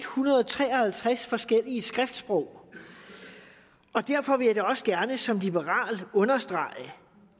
hundrede og tre og halvtreds forskellige skriftsprog og derfor vil jeg da også gerne som liberal understrege